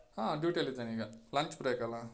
ಹಾ, duty ಅಲ್ಲಿದ್ದೇನೆ ಈಗ lunch break ಅಲ್ಲಾ.